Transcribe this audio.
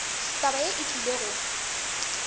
taba yeo e tlile go